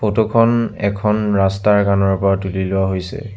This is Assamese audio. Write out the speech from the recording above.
ফটো খন এখন ৰাস্তাৰ কাণৰ পৰা তুলি লোৱা হৈছে।